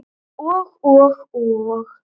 Og og og.